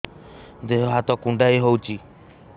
ଦେହ ହାତ କୁଣ୍ଡାଇ ହଉଛି